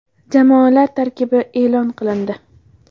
Jamoalar tarkibi e’lon qilindi.